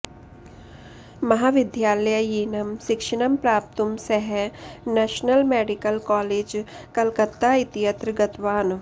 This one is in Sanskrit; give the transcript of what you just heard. महाविद्यालयीनं शिक्षणं प्राप्तुं सः नँशनल मेडिकल कॉलेज कलकत्ता इत्यत्र गतवान्